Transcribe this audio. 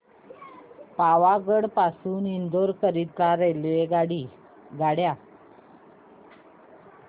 पावागढ पासून इंदोर करीता रेल्वेगाड्या